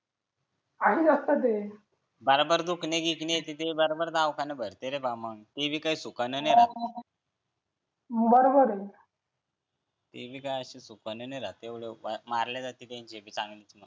असं असतं ते बरोबर दुखणे फुकणे येत ते बरोबर दवाखाना भरते रे बाबा मग देवी सुखाने नाही राहत हा बरोबर आहे ते बी काय सुखाने नाही राहात तेवढं मारले जाते मग चांगलीच मग